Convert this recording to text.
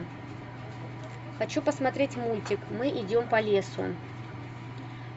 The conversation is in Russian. хочу посмотреть мультик мы идем по лесу